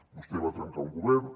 vostè va trencar un govern